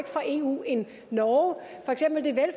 fra eu end norge